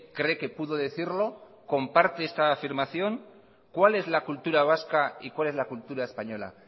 cree que pudo decirlo comparte esta afirmación cuál es la cultura vasca y cuál es la cultura española